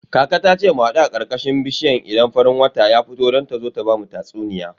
Kaka ta ce mu hadu a karkashin bishiya idan farin wata ya fito don ta zo ta bamu tatsuniya.